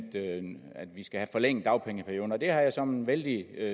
vi skal have forlænget dagpengeperioden det har jeg såmænd vældig